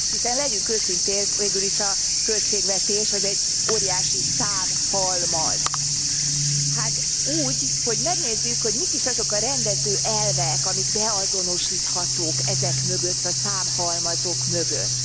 Hiszen legyünk őszinték, végül is a költségvetés az egy óriási számhalmaz. Hát úgy, hogy megnézzük, hogy mik is azok a rendező elvek, amik beazonosíthatók ezek mögött a számhalmazok mögött.